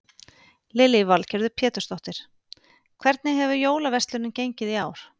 Lillý Valgerður Pétursdóttir: Hvernig hefur jólaverslunin gengið í ár?